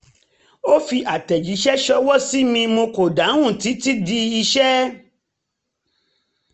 ó fi àtẹ̀jíṣẹ́ ṣọwọ́ sí mi mo kò dáhùn títí di iṣẹ́